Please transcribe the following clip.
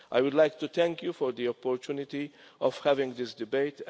I would like to take you for the opportunity of having this debate.